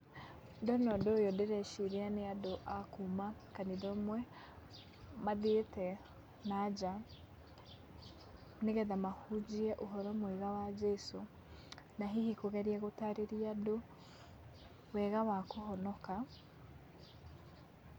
Ndona ũndũ ũyũ ndĩreciria nĩ andũ a kuma kanitha ũmwe mathiĩte na nja nĩ getha mahunjie ũhoro mwega wa Jesũ na hihi kũgeria gũtarĩria andũ wega wa kũhonoka.